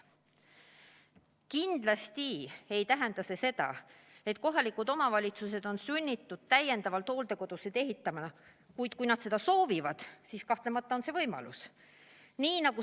Kindlasti ei tähenda see seda, et kohalikud omavalitsused on sunnitud hooldekodusid juurde ehitama, kuid kui nad seda soovivad, siis kahtlemata on see võimalus.